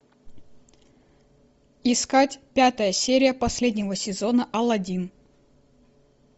искать пятая серия последнего сезона алладин